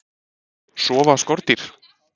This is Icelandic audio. Sofa skordýr?